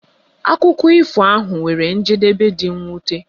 Akụkọ ifo ahu nwere njedebe dị mwute.